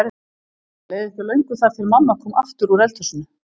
Það leið ekki á löngu þar til mamma kom aftur úr eldhúsinu.